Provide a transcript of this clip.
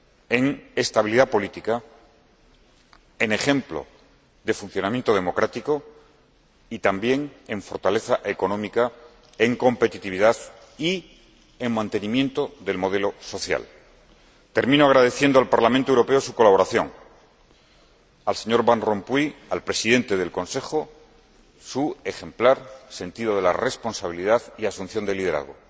en estabilidad política, en ejemplo de funcionamiento democrático y también en fortaleza económica, en competitividad y en mantenimiento del modelo social. Termino agradeciendo al Parlamento Europeo su colaboración, al señor Van Rompuy, Presidente del Consejo Europeo, su ejemplar sentido de la responsabilidad y asunción de liderazgo,